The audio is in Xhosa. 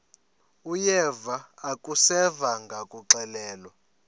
uyeva akuseva ngakuxelelwa